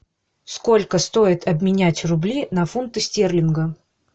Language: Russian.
сколько стоит обменять рубли на фунты стерлинга